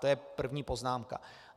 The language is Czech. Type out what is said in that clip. To je první poznámka.